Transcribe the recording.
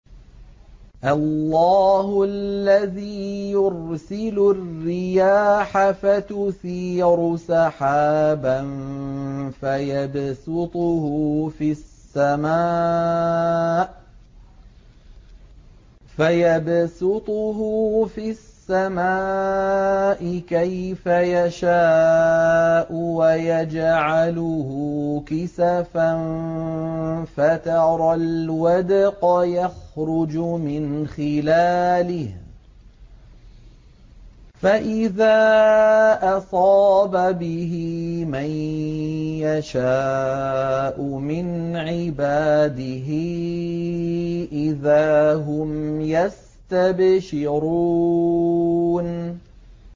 اللَّهُ الَّذِي يُرْسِلُ الرِّيَاحَ فَتُثِيرُ سَحَابًا فَيَبْسُطُهُ فِي السَّمَاءِ كَيْفَ يَشَاءُ وَيَجْعَلُهُ كِسَفًا فَتَرَى الْوَدْقَ يَخْرُجُ مِنْ خِلَالِهِ ۖ فَإِذَا أَصَابَ بِهِ مَن يَشَاءُ مِنْ عِبَادِهِ إِذَا هُمْ يَسْتَبْشِرُونَ